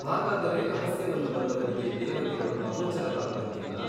ಹಾಗಾದರೆ ರಹಸ್ಯವನ್ನು ಬಲ್ಲವರಿಗೆ ದೇವತೆಗಳು ಅಗೋಚರರಾಗುವಂತಿಲ್ಲ ?